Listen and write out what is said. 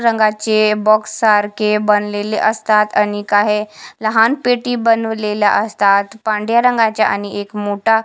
रंगाचे बॉक्स सारखे बनलेले असतात आणि काही लहान पेटी बनवलेल्या असतात पांढ्या रंगाच्या आणि एक मोठा--